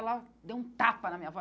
Ela deu um tapa na minha avó.